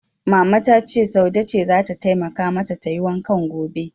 Mama ta ce Saude ce zata taimakawa mata tayi wankan gobe.